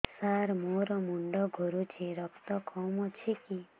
ସାର ମୋର ମୁଣ୍ଡ ଘୁରୁଛି ରକ୍ତ କମ ଅଛି କି